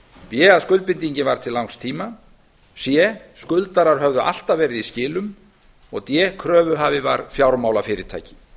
b að skuldbindingin var til langs tíma eða þrjátíu ára c skuldarar höfðu alltaf verið í skilum og d kröfuhafi var fjármálafyrirtæki